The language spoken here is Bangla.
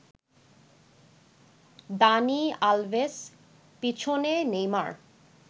দানি আলভেস, পেছনে নেইমার